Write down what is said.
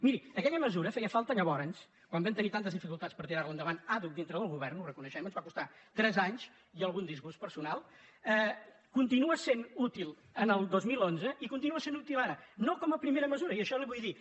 miri aquella mesura feia falta llavors quan vam tenir tantes dificultats per tirar·la endavant àdhuc dintre del govern ho reconeixem ens va costar tres anys i algun disgust personal continua sent útil en el dos mil onze i continua sent útil ara no com a primera mesu·ra i això li ho vull dir